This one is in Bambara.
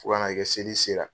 Fo ka na kɛ seli sera.